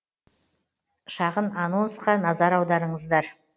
шағын анонсқа назар аударыңыздар